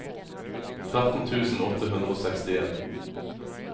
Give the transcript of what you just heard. tretten tusen åtte hundre og sekstien